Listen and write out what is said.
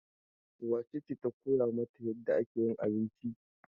Wace ce ta koya mata yadda ake yin abinci?